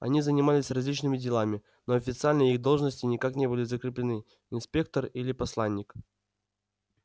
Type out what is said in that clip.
они занимались различными делами но официально их должности никак не были закреплены инспектор или посланник